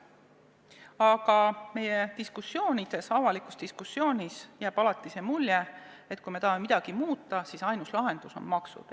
Aga meie diskussioonides, üldse avalikus diskussioonis jääb alati see mulje, et kui me tahame midagi muuta, siis ainus lahendus on maksud.